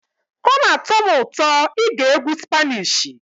Ọ na-atọ m ụtọ ige egwu spanishi.